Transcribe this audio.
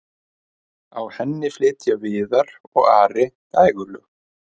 á henni flytja viðar og ari dægurlög